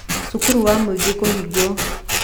Cukuru wa Mwingi kũhingwo